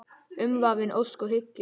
Umvafin ósk og hyggju.